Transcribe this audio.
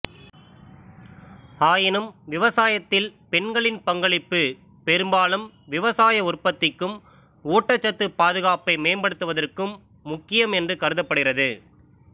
ஆயினும் விவசாயத்தில் பெண்களின் பங்களிப்பு பெரும்பாலும் விவசாய உற்பத்திக்கும் ஊட்டச்சத்து பாதுகாப்பையும் மேம்படுத்துவதற்கும் முக்கியம் என்று கருதப்படுகிறது